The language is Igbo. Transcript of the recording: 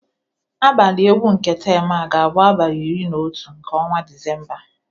Abalị egwu nke temụ a ga-abụ n'abalị iri na otu nke ọnwa Disemba